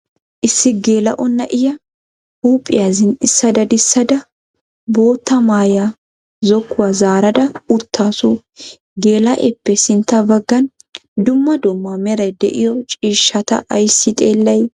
Issi geela"o na"iyaa huuphphiyaa zin"issa dadissadda boottaa maaya zokkuwaa zaarada uttaasu. geela"eeppe sintta baggan dumma dumma meray de"iyoo ciishshata ayssi xeellay?